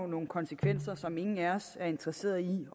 nogle konsekvenser som ingen af os er interesseret i